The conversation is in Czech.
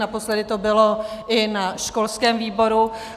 Naposledy to bylo i na školském výboru.